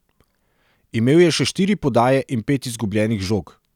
Imel je še štiri podaje in pet izgubljenih žog.